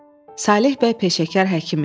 Saleh bəy peşəkar həkim idi.